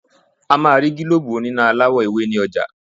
A máa rí gílóbù oní iná aláwọ̀-ewé ní ọjà.